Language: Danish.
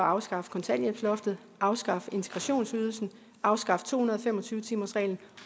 afskaffe kontanthjælpsloftet afskaffe integrationsydelsen afskaffe to hundrede og fem og tyve timersreglen